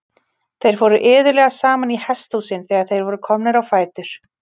Þeir fóru iðulega saman í hesthúsin þegar þeir voru komnir á fætur.